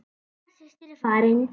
Ella systir er farin.